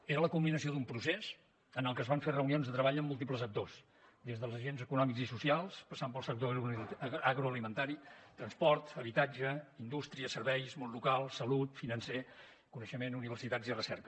era la culminació d’un procés en el que es van fer reunions de treball amb múltiples actors des dels agents econòmics i socials passant pels sectors agroalimentari transport habitatge indústria serveis món local salut financer coneixement universitats i recerca